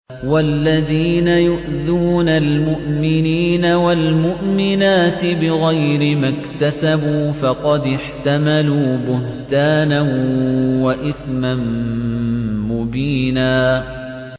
وَالَّذِينَ يُؤْذُونَ الْمُؤْمِنِينَ وَالْمُؤْمِنَاتِ بِغَيْرِ مَا اكْتَسَبُوا فَقَدِ احْتَمَلُوا بُهْتَانًا وَإِثْمًا مُّبِينًا